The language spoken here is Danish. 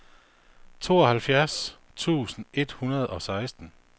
tooghalvfjerds tusind et hundrede og seksten